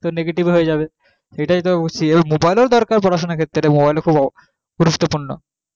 তো negative হয়ে যাবে এটাই তো অবস্থা mobile এর ও দরকার পড়াশোনার ক্ষেত্রে mobile ও খুব গুরুত্বপূর্ণ